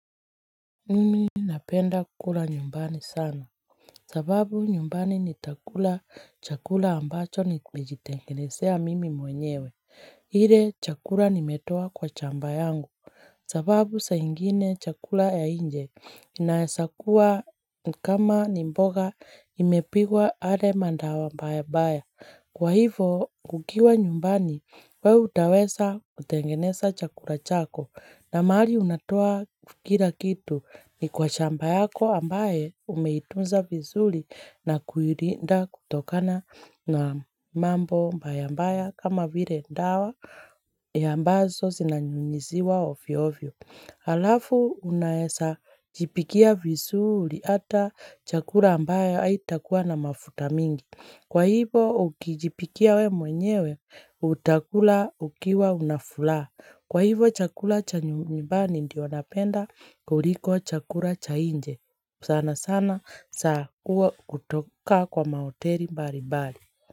Mimi napenda kula nyumbani sana. Sababu nyumbani nitakula chakula ambacho nimejitengenezea mimi mwenyewe. Ile chakula nimetoa kwa shamba yangu. Sababu saa ingine chakula ya nje. Inaweza kuwa kama ni mboga imepikwa ale maandao mbaya mbaya. Kwa hivyo ukiwa nyumbani wewe utaweza kutengeneza chakula chako. Na mahali unatoa kila kitu ni kwa shamba yako ambayo umeitunza vizuri na kuilinda kutokana na mambo mbaya mbaya kama vile dawa ambazo zinanyunyuziwa ovyo ovyo. Alafu unaweza jipikia vizuri hata chakula ambayo haitakuwa na mafuta mingi. Kwa hivyo ukijipikia we mwenyewe utakula ukiwa unafuraha. Kwa hivyo chakula cha nyumbani ndio anapenda kuliko chakula cha nje sana sana za kuwa kutoka kwa mahoteli mbali mbali.